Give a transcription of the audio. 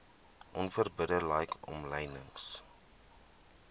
onverbidde like omlynings